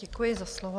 Děkuji za slovo.